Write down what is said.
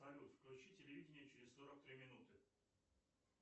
салют включи телевидение через сорок три минуты